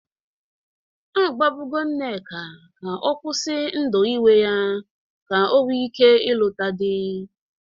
A gwabụgo Nneka ka ọ kwusi ndụ iwe ya ka o nwee ike lụta dị.